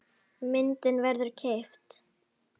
Myndin verður keypt.